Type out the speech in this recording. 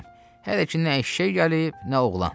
Hələ ki nə eşşək gəlib, nə oğlan.